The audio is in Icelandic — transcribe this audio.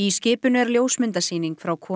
skipinu er ljósmyndasýning frá